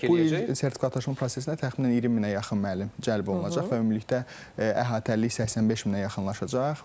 Bu il sertifikatlaşma prosesinə təxminən 20 minə yaxın müəllim cəlb olunacaq və ümumilikdə əhatəlilik 85 minə yaxınlaşacaq.